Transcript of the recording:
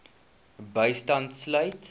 bystand sluit